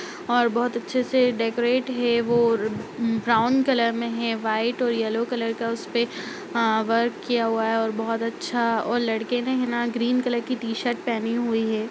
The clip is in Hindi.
और बहुत अच्छे से डेकोरेट है वो ब्राउन कलर में है वाइट और येलो कलर का आ उसपे वर्क किया हुआ है और बहुत अच्छा और लड़के ने है ना ग्रीन कलर की टी-शर्ट पहनी है।